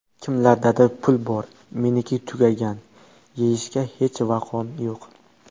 Kimlardadir pul bor, meniki tugagan, yeyishga hech vaqoim yo‘q.